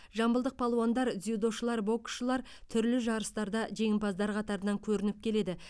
жамбылдық палуандар дзюдошылар боксшылар түрлі жарыстарда жеңімпаздар қатарынан көрініп келеді